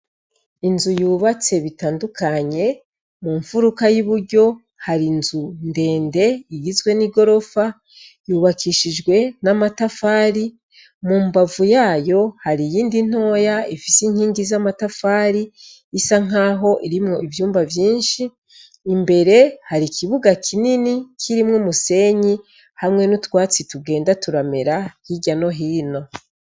Inzu yubatse bitandukanye mu mfuruka y'i buryo hari inzu ndende igizwe n'i gorofa yubakishijwe n'amatafari mu mbavu yayo hari iyindi ntoya ifise inkingi z'amatafari isa nk'aho irimwo ivyumba vyinshi imbere hari ikibuga kinini kirimwo umusenyi hamwe n'utwatsi tugenda turamera hirya no hino.